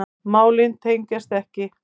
Málin tengjast ekki.